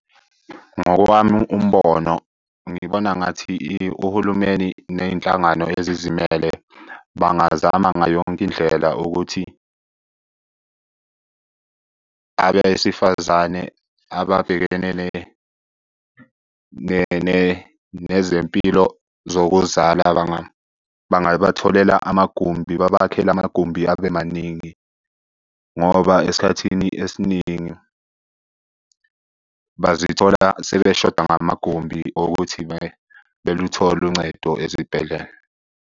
Ngowami umbono, ngibona ngathi uhulumeni ney'nhlangano ezizimele bangazama ngayo yonke indlela ukuthi, abesifazane ababhekene nezempilo zokuzala bangabatholela amagumbi. Babakhele amagumbi abe maningi ngoba esikhathini esiningi bazithola sebeshoda ngamagumbi okuthi beluthole uncedo ezibhedlela.